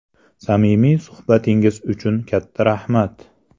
Samimiy suhbatingiz uchun katta rahmat.